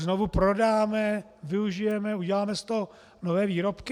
Znovu prodáme, využijeme, uděláme z toho nové výrobky?